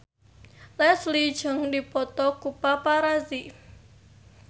Leslie Cheung dipoto ku paparazi